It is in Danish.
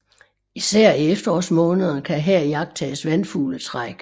Især i efterårsmånederne kan her iagttages vandfugletræk